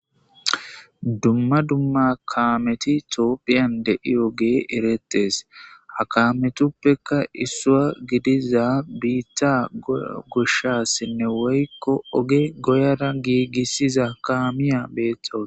Dumma dumma kaameti tooppiyan dei oge erettes hakametuppeka issuwa gidiza biitta goshshassenne woykko oge goyara giigissiza kaamiya beethtos.